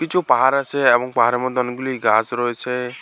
কিছু পাহাড় আছে এবং পাহাড়ের মধ্যে অনেকগুলি গাছ রয়েছে।